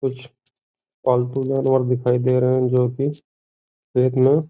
कुछ पालतू जानवर दिखाई दे रहे हैं जो कि --